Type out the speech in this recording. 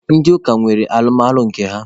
Ndị ụka nwere alụmalụ nke ha